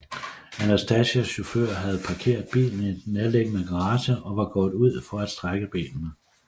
Anastasias chauffør havde parkeret bilen i en nærliggende garage og var gået ud for at strække benene